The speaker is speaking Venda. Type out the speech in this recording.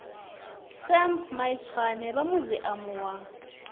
sam maitswane vha muziamu wa